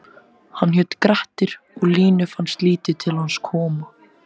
Hann hét Grettir og Línu fannst lítið til hans koma: